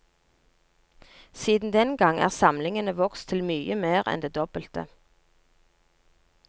Siden den gang er samlingene vokst til mye mer enn det dobbelte.